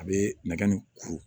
A bɛ nɛgɛ nin kuru